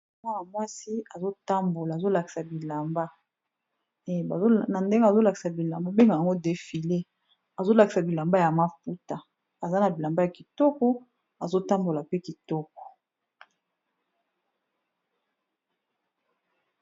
Mwana mwasi azo tambola azo lakisa bilamba, na ndenge azo lakisa bilamba ba bengaka yango defile. Azo lakisa bilamba ya maputa aza na bilamba ya kitoko, azo tambola pe kitoko.